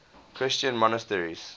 christian monasteries